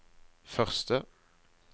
første